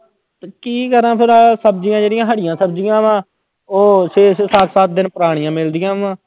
ਕੀ ਕਰਾਂ ਫਿਰ ਸਬਜ਼ੀਆਂ ਜਿਹੜੀਆਂ ਹਰੀਆਂ ਸਬਜ਼ੀਆਂ ਵਾਂ, ਉਹ ਛੇ ਛੇ ਸੱਤ ਸੱਤ ਦਿਨ ਪੁਰਾਣੀਆਂ ਮਿਲਦੀਆਂ ਵਾਂ।